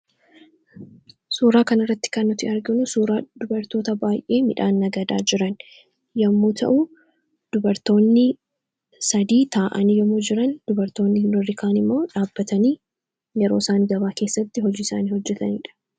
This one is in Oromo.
Suuraa kan irratti kannuti arginu suuraa dubartoota baay'ee midhaan nagadaa jiran yommuu ta'u dubartoonni sadii taa'anii yomuu jiran dubartoonni urrikaan immoo dhaabbatanii yeroo isaan gabaa keessatti hojii isaanii hojjataniidha.